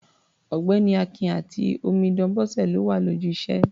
Ọ̀gbẹ́ni Akin àti omidan Bọ́sẹ̀ ló wà lójú iṣẹ́.